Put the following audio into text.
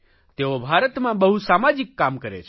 તેઓ ભારતમાં બહુ સામાજિક કામ કરે છે